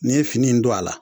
N'i ye fini in don a la